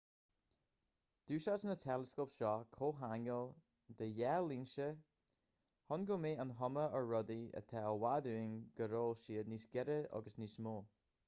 d'úsáid na teileascóip seo comhcheangal de dhá lionsa chun go mbeadh an chuma ar rudaí atá i bhfad uainn go raibh siad níos gaire agus níos mó